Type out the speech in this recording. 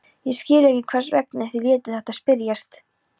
Ég skil ekki, hvers vegna þið létuð þetta spyrjast.